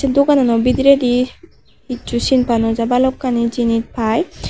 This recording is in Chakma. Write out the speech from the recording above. duganano bidireydi hissu sinpa nojai balukani jenis pai.